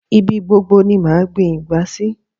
Ibi gbobgo ni màá gbin ìgbá sí